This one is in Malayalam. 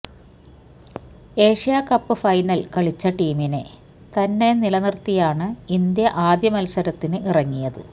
ഏഷ്യാ കപ്പ് ഫൈനല് കളിച്ച ടീമിനെ തന്നെ നിലനിര്ത്തിയാണ് ഇന്ത്യ ആദ്യ മത്സരത്തിന് ഇറങ്ങിയത്